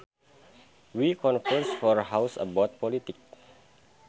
We conversed for hours about politics